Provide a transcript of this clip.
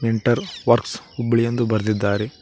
Mentor works Hubballi ಎಂದು ಬರಿದಿದ್ದಾರೆ.